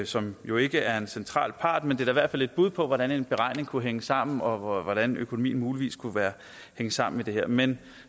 som jo ikke er en central part men det er i hvert fald et bud på hvordan en beregning kunne hænge sammen og hvordan økonomien muligvis kunne hænge sammen i det her men